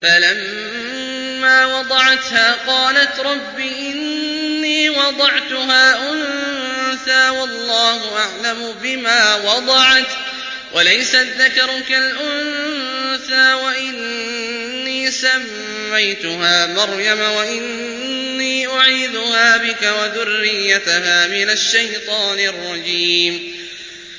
فَلَمَّا وَضَعَتْهَا قَالَتْ رَبِّ إِنِّي وَضَعْتُهَا أُنثَىٰ وَاللَّهُ أَعْلَمُ بِمَا وَضَعَتْ وَلَيْسَ الذَّكَرُ كَالْأُنثَىٰ ۖ وَإِنِّي سَمَّيْتُهَا مَرْيَمَ وَإِنِّي أُعِيذُهَا بِكَ وَذُرِّيَّتَهَا مِنَ الشَّيْطَانِ الرَّجِيمِ